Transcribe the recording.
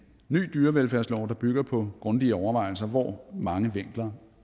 ny dyrevelfærdslov der bygger på grundige overvejelser hvor mange vinkler